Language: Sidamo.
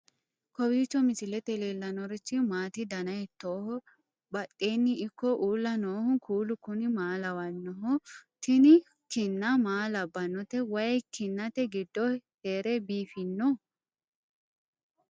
kowiicho misilete leellanorichi maati ? dana hiittooho ?abadhhenni ikko uulla noohu kuulu kuni maa lawannoho? tini kinna maa labbannote wayi kinnate giddo heere biifiinoho